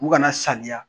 U kana saniya